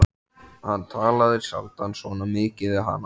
Hann talaði sjaldan svona mikið við hana.